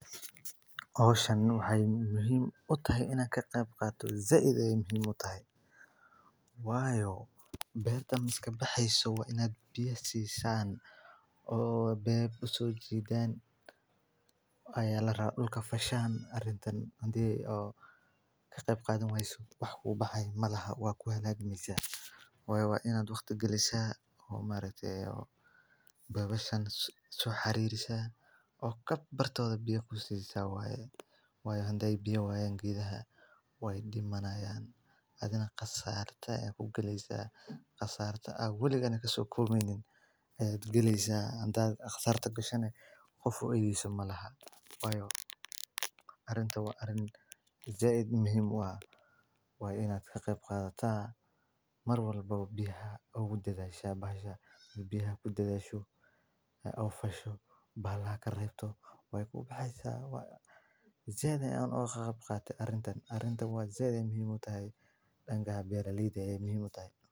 Howshani waxay muhiim utahay in an kaqeyb qaato zaid ayeey muhiim utahay waayo beertan iskabaxeyso waa inaad biyo siisan oo beeb usoojidaan aya larabaa dulka fashaan arintan hadii oo kaqeyb qadhan wayso wax kubaaxayo malahan waa kuhalaagmeysa waayo waa inaad waqti galisa oo maaragte beebashan soo xariirisa oo bartoodha biya kusissa waayo hadey biyo wayaan geedhaha wey dimanaayn adhigana qasaarto ayaad kugaleysa qasaarto aad waligaana kasookobmeynin ayaad galeysa hadaad qasaarto gasha neh qof uedheyso malahn wayo aritan waa arin zaid muhiim uah waa inaad kaqeeyb qadhataa mar walba biyaha ogudadhashaa bahasha biya kudadhasho oo fasho bahalaha kareebto wey kubaxeysa zaid ayaan ogaqeyb qate, arintan zaid ayeey muhiim utahay danka beeraleyda ayee muhiim utahay.